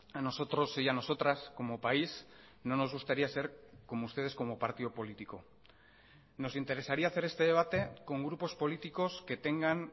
a nosotros y a nosotras como país no nos gustaría ser como ustedes como partido político nos interesaría hacer este debate con grupos políticos que tengan